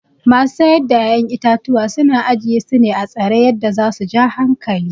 masu Saida 'ya'yan itatuwa suna ajiyesu atsare yadda zasu ja hankali.